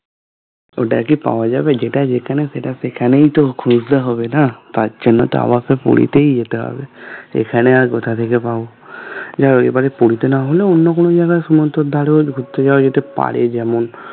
ওটা কি পাওয়া যাবে যেটা যেখানে সেটা সেখানেই তো খুঁজতে হবে না তার জন্য তো আবার সেই পুরীতেই যেতে হবে এখানে আর কোথা থেকে পাবো যাহোক এবার পুরীতে না হলে হলে অন্য কোন জায়গায় সমুদ্রের ধারে ঘুরতে যাওয়া যেতে পারে যেমন